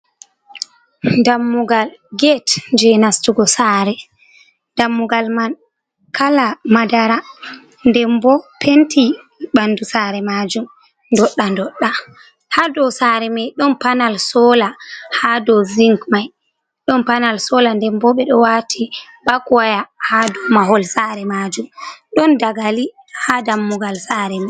Dammugal gete je nastugo sare. Dammugal man kala madara nden bo penti bandu sare majum dodda dodda, ha do sare mai don panal sola ha do zink mai don panal sola den bo be do wati bako waya ha do mahol sare majum, don dagali ha dammugal sare mai.